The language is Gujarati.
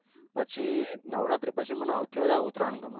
પછી નવરાત્રી પછી મને હવ થી વધાર મને ઉત્તરાયણ ગમે